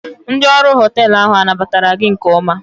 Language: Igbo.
Ndị ọrụ họteelụ ahụ anabatara gị nke ọma?